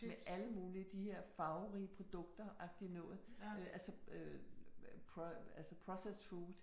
Med alle mulige. De her farverige produkter agtig noget øh altså øh processed food